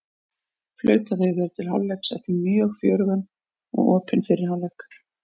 Flautað hefur verið til hálfleiks eftir mjög fjörugan og opinn fyrri hálfleik!